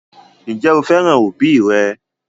Ǹjẹ́ o fẹ́ràn òbí rẹ?